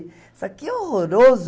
Isso aqui é horroroso.